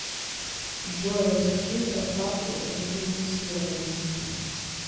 джой расскажи про ставку рефинансирования